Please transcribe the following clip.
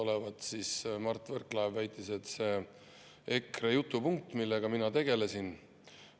nagu Mart Võrklaev väitis, olevat see EKRE jutupunkt, millega mina tegelesin.